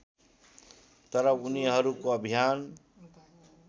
तर उनीहरूको अभियान